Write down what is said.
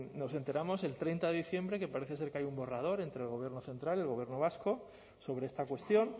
nos enteramos el treinta de diciembre que parece ser que hay un borrador entre el gobierno central y el gobierno vasco sobre esta cuestión